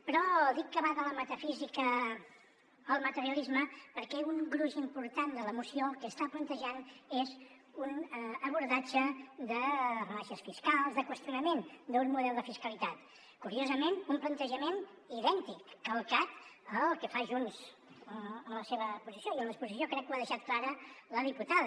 però dic que va de la metafísica al materialisme perquè un gruix important de la moció el que està plantejant és un abordatge de rebaixes fiscals de qüestionament d’un model de fiscalitat curiosament un plantejament idèntic calcat al que fa junts en la seva exposició i en l’exposició crec que ho ha deixat clar la diputada